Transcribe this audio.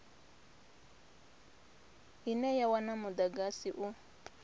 ine ya wana mudagasi u